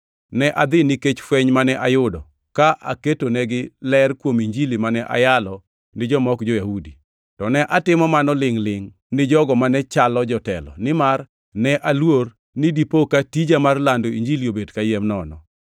Ne adhi nikech fweny mane ayudo, ka aketonegi ler kuom Injili mane ayalo ni joma ok jo-Yahudi. To ne atimo mano lingʼ-lingʼ ni jogo mane chalo jotelo, nimar ne aluor ni dipo ka tija mar lando Injili obet kayiem nono.